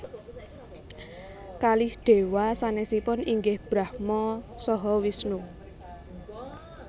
Kalih Déwa sanèsipun inggih Brahma saha Wisnu